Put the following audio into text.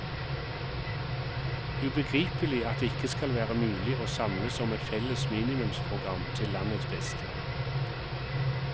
Ubegripelig at det ikke skal være mulig å samles om et felles minimumsprogram til landets beste.